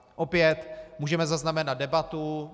Opět můžeme zaznamenat debatu.